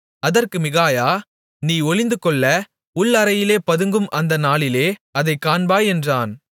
அதற்கு மிகாயா நீ ஒளிந்துகொள்ள உள் அறையிலே பதுங்கும் அந்த நாளிலே அதைக் காண்பாய் என்றான்